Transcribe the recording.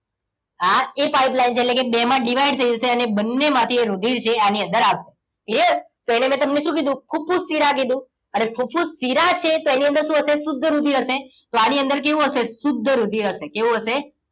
આ એ pipeline છે એટલે કે બે માં divide થઈ જશે અને બંનેમાંથી એ રુધિર જે એની અંદર આવે clear તો અહીંયા મેં તમને શું કીધું ફુફુસ શિરા કીધું અને ફુફુસ શિરા છે તો એની અંદર શું હશે શુદ્ધ રુધિર હશે તો આની અંદર કેવું હશે? શુદ્ધ રુધિર હશે કેવું હશે?